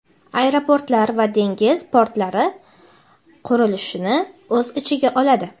aeroportlar va dengiz portlari qurilishini o‘z ichiga oladi.